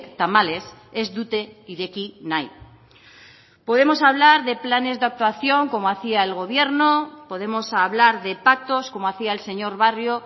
tamalez ez dute ireki nahi podemos hablar de planes de actuación como hacía el gobierno podemos hablar de pactos como hacía el señor barrio